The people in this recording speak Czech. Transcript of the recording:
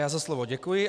Já za slovo děkuji.